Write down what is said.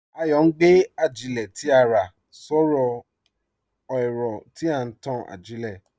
Ayọ̀ n gbé àjílẹ̀ tí à rá sọ̀rọ̀ ẹ̀rọ̀ tí n tàn àjílẹ̀.